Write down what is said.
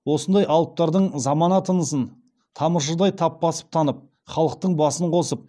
осындай алыптардың замана тынысын тамыршыдай тап басып танып халықтың басын қосып